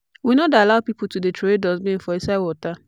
we no dey allow pipo to dey troway dustbin for inside water.